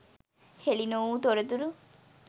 හෙළි නොවූ තොරතුරු